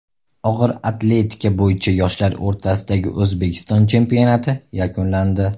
Og‘ir atletika bo‘yicha yoshlar o‘rtasidagi O‘zbekiston chempionati yakunlandi.